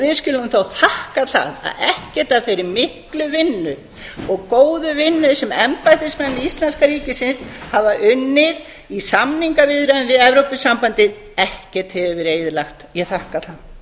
við skulum þá þakka það að ekkert af þeirri miklu vinnu og góðu vinnu sem embættismenn íslenskra ríkisins hafa unnið í samningaviðræðum við evrópusambandið ekkert hefur verið eyðilagt ég þakka það